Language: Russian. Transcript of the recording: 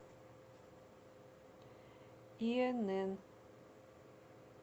инн